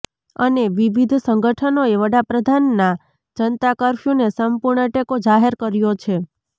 અને વિવિધ સંગઠનોએ વડાપ્રધાનના જનતા કફર્યુને સંપૂર્ણ ટેકો જાહેર કર્યો છે